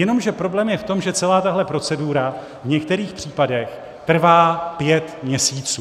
Jenomže problém je v tom, že celá tahle procedura v některých případech trvá pět měsíců.